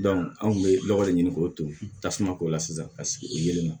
anw kun bɛ nɔgɔ de ɲini k'o ton tasuma k'o la sisan ka sigi o ye